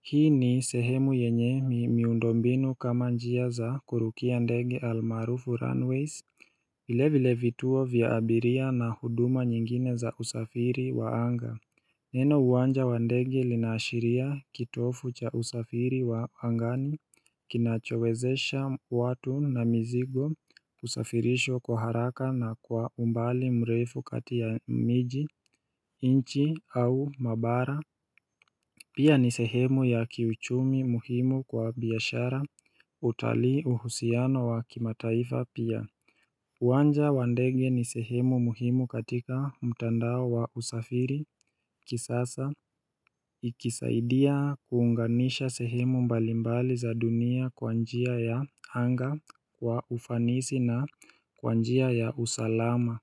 Hii ni sehemu yenye miundo mbinu kama njia za kurukia ndegi almarufu runways vile vile vituo vya abiria na huduma nyingine za usafiri wa anga Neno uwanja wa ndege linashiria kitofu cha usafiri wa angani kinachowezesha watu na mizigo usafirisho kwa haraka na kwa umbali mrefu katia miji inchi au mabara Pia ni sehemu ya kiuchumi muhimu kwa biyashara utalii uhusiano wa kimataifa pia uwanja wa ndege ni sehemu muhimu katika mtandao wa usafiri kisasa Ikisaidia kuunganisha sehemu mbalimbali za dunia kwa njia ya anga kwa ufanisi na kwa njia ya usalama.